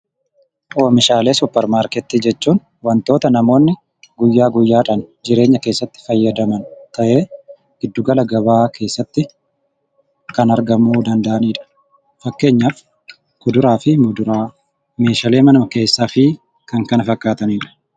Oomishaalee supermarketii jechuun wantoota namooni guyyaa guyyaadhaan jireenya keessatti fayyadaman kanneen giddu gala gabaa keessatti kan argamuu danda'aniidha. Fakkeenyaaf kuduraa fi muduraa, meeshaalee mana keessaa fi kan kana fakkaatanii dha.